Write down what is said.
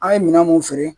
An ye minɛn mun feere